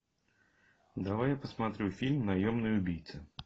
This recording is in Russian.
давай я посмотрю фильм наемный убийца